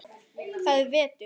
Það er vetur.